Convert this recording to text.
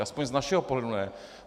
Alespoň z našeho pohledu ne.